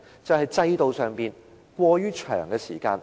便是制度上審核時間過長。